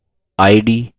du